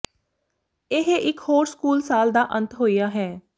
ਇਹ ਇਕ ਹੋਰ ਸਕੂਲ ਸਾਲ ਦਾ ਅੰਤ ਹੋਇਆ ਹੈ